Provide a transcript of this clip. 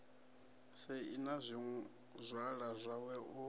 sei na zwizwala zwawe u